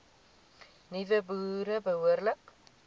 nuwe boere behoorlik